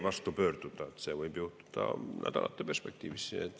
See võib juhtuda nädalate perspektiivis.